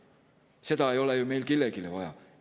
Seda ei ole ju meil kellelegi vaja.